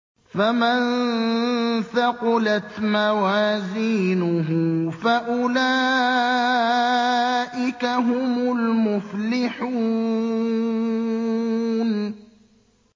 فَمَن ثَقُلَتْ مَوَازِينُهُ فَأُولَٰئِكَ هُمُ الْمُفْلِحُونَ